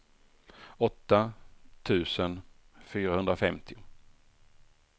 åtta tusen fyrahundrafemtio